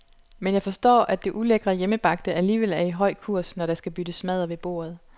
Men jeg forstår, at det ulækre hjemmebagte alligevel er i høj kurs, når der skal byttes madder ved bordet.